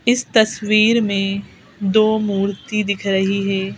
इस तस्वीर में दो मूर्ति दिख रही है।